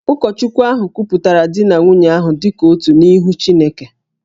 Ụkọchukwu ahụ kwupụtara di na nwunye ahụ dị ka otu n’ihu Chineke